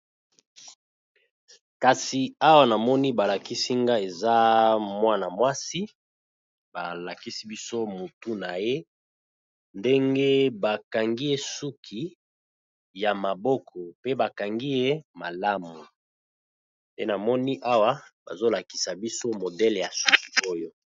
Kasi awa na moni ba lakisi nga eza mwana mwasi, ba lakisi biso motu na ye ndenge ba kangi ye suki ya maboko, pe ba kangi ye malamu pe na moni awa bazo lakisa biso modele ya suki oyo .